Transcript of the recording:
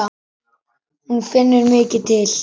Hún finnur mikið til.